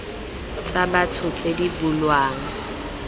tsa batho tse di bulwang